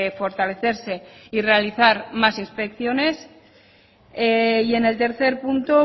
fortalecerse y realizar más inspecciones y en el tercer punto